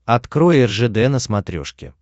открой ржд на смотрешке